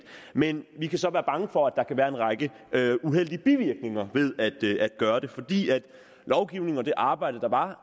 men vi kan så være bange for at der kan være en række uheldige bivirkninger ved at gøre det fordi lovgivningen og det arbejde der var